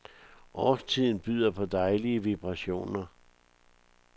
Årstiden byder på dejlige vibrationer.